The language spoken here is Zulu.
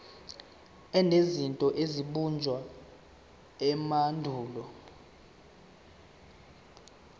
enezinto ezabunjwa emandulo